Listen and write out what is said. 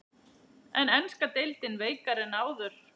Er enska deildin veikari en áður?